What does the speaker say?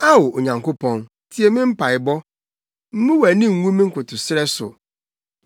Ao Onyankopɔn, tie me mpaebɔ, mmu wʼani ngu me nkotosrɛ so,